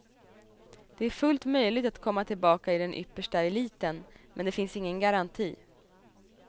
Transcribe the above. Det är fullt möjligt att komma tillbaka i den yppersta eliten, men det finns ingen garanti.